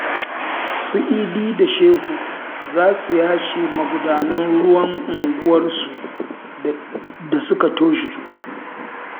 Su Idi da Shehu za su yashe magudanan ruwan unguwarsu da suka toshe